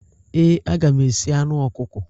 Ee, aga m esi anụ ọkụkọ.